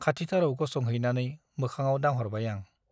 खाथिथाराव गसंहैनानै मोखाङाव दांहरबाय आं ।